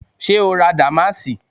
Ṣé o ra dàmáàsì?